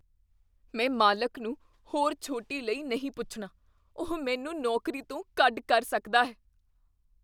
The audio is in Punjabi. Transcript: ਮੈਂ ਮਾਲਕ ਨੂੰ ਹੋਰ ਛੋਟੀ ਲਈ ਨਹੀਂ ਪੁੱਛਣਾ। ਉਹ ਮੈਨੂੰ ਨੌਕਰੀ ਤੋਂ ਕੱਢ ਕਰ ਸਕਦਾ ਹੈ।